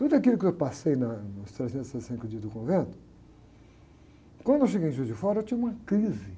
Tudo aquilo que eu passei na, nos trezentos e sessenta e cinco dias do convento, quando eu cheguei em Juiz de Fora, eu tive uma crise